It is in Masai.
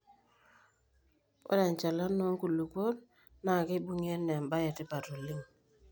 ore enchalana oo nkulupuok naa keibung'I anaa eba e etipat oleng